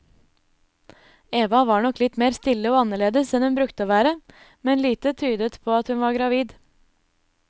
Eva var nok litt mer stille og annerledes enn hun brukte å være, men lite tydet på at hun var gravid.